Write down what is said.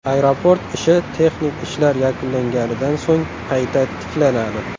Aeroport ishi texnik ishlar yakunlanganidan so‘ng qayta tiklanadi.